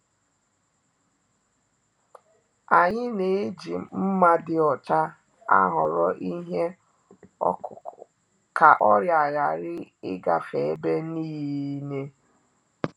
Anyị na-eji nma dị ọcha ahoro ihe okuku ka ọrịa hari e-gafe ebe-ninee